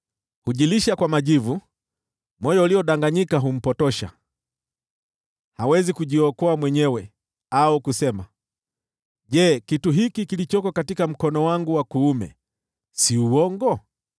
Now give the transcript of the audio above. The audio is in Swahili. Hujilisha kwa majivu, moyo uliodanganyika humpotosha; hawezi kujiokoa mwenyewe, au kusema, “Je, kitu hiki kilichoko katika mkono wangu wa kuume si ni uongo?”